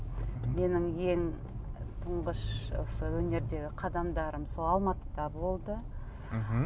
менің ең тұңғыш осы өнердегі қадамдарым сол алматыда болды мхм